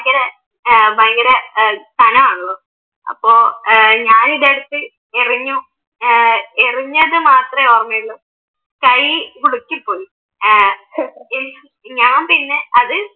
ഏർ ഭയങ്കരം ഖനമാണല്ലോ അപ്പൊ ഏർ ഞാനിതെടുത്ത് എറിഞ്ഞു എറിഞ്ഞത്ത് മാത്രമേ ഓർമ്മയുള്ളു കൈ ഉളുക്കിപ്പോയി ഏർ ഞാൻ പിന്നെ